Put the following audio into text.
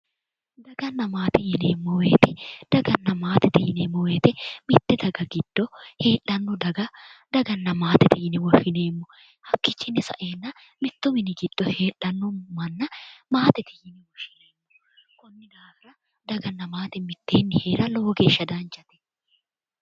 Daganna maate yineemmo woyiite, Daganna maate yineemmo woyiite mitte daga giddo heedhanno daga gaganna maate yine woshshineemmo. hakkichiino saeenna mittu mini giddo heedhanno manna maatete yineemmo. konni daafira daganna maate mitteenni heera danchate.